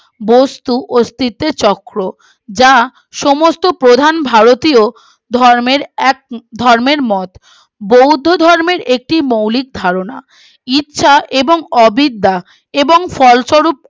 বস্তু অস্তিত্বের চক্র যা সমস্ত প্রধান ভারতীয় ধর্মের এক ধর্মের মল বৌদ্ধ ধর্মের একটি মৌলিক ধারণা ইচ্ছা এবং অবিদ্যা এবং ফলস্বরূপ